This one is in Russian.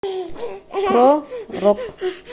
про рок